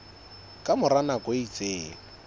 ka mora nako e itseng